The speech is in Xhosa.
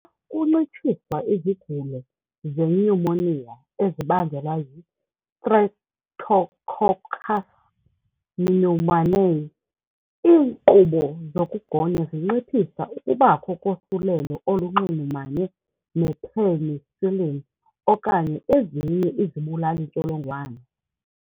Kuncitshiswa izigulo zenyumoniya ezibangelwa yi-Streptococcus pneumoniae, iinkqubo zokugonya zinciphisa ukubakho kosulelo olunxulumane ne-penicillin okanye ezinye izibulali-ntsholongwane.